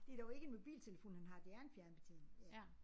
Det dog ikke en mobiltelefon han har det er en fjernbetjening ja